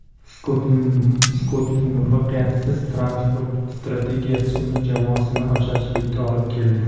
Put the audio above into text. Skottning muvaffaqiyatsiz transport strategiyasi uning jamoasini ocharchilikka olib keldi.